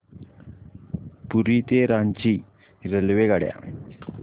पुरी ते रांची रेल्वेगाड्या